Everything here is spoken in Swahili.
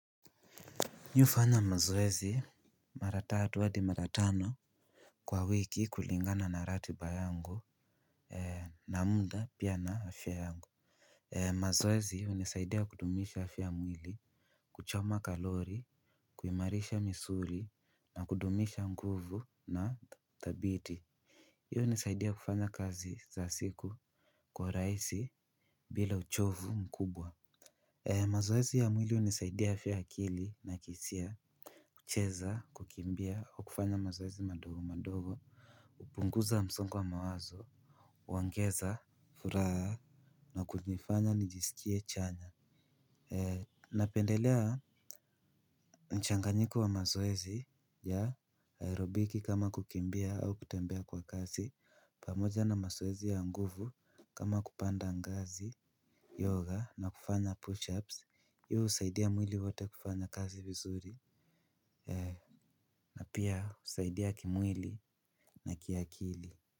Nafanya mazoezi mara tatu hadi mara tano kwa wiki kulingana na ratiba yangu na muda pia na afya yangu. Mazoezi hunisaidia kudumisha afya mwili kuchoma kalori kuimarisha misuli na kudumisha nguvu na dhabiti hiyo nisaidia kufanya kazi za siku kwa rahisi bila uchovu mkubwa. Mazoezi ya mwili hunisaidia aya ya akili na hisia. Kucheza, kukimbia, au kufanya mazoezi madogo madogo upunguza msongo wa mawazo huongeza furaha na kujifanya nijisikie chanya. Napendelea mchanganyiko wa mazoezi ya aerobiki kama kukimbia au kutembea kwa kasi. Pamoja na mazoezi ya nguvu kama kupanda ngazi, yoga na kufanya push-ups husaidia mwili wote kufanya kazi vizuri na pia husaidia kimwili na kiakili.